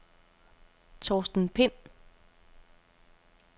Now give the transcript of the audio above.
Torsten Pind